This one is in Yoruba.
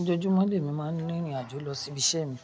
Ojoojúmọ́ lẹ́mi má ń rin ìrìn àjò lọ síbi iṣẹ́ mi.